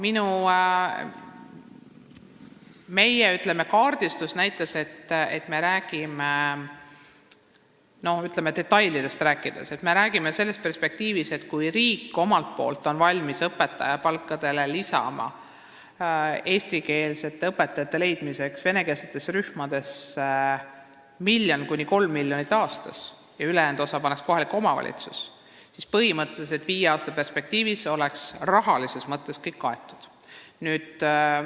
Kui detailidest rääkida, siis meie kaardistus näitab sellist perspektiivi, et kui riik on omalt poolt valmis õpetaja palkadele lisama eesti keele õpetajate leidmiseks venekeelsetesse rühmadesse 1–3 miljonit eurot aastas ja ülejäänud osa paneks kohalik omavalitsus, siis oleks põhimõtteliselt kõik viie aasta perspektiivis rahalises mõttes kaetud.